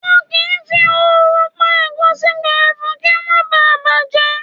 Wọn kì í fi ooru pa ẹ̀gúsí gbẹrẹfu kí ó má ba à bàjẹ́.